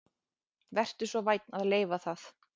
Vertu svo vænn að leyfa það